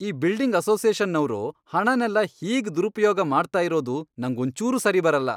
ಈ ಬಿಲ್ಡಿಂಗ್ ಅಸೋಸಿಯೇಷನ್ನವ್ರು ಹಣನೆಲ್ಲ ಹೀಗ್ ದುರುಪ್ಯೋಗ ಮಾಡ್ತಾ ಇರೋದು ನಂಗ್ ಒಂಚೂರೂ ಸರಿ ಬರಲ್ಲ.